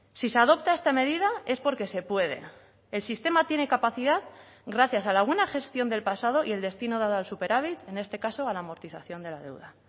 si se adopta esta medida es porque se puede el sistema tiene capacidad gracias a la buena gestión del pasado y el destino dado al superávit en este caso a la amortización de la deuda